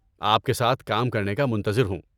آپ کے ساتھ کام کرنے کا منتظر ہوں۔